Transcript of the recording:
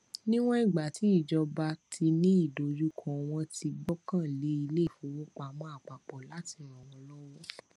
níwọn ìgbà tí ìjọba tí ní ìdojúkọ wọn ti gbọkàn lé ilé ìfowópamọ àpapọ láti ràn wọn lọwọ